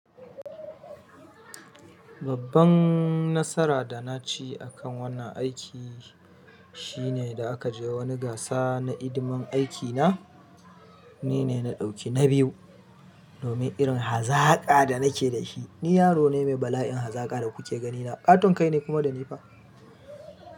Babban nasara da na ci akan wannan aiki shine da aka je wani gasa na hidiman aikina, ni ne na dauki na biyu. Domin irin hazaƙa da nake da shi. Ni yaro ne mai bala'in hazaƙa da kuke ganina, ƙaton kai ne kuma da nifa.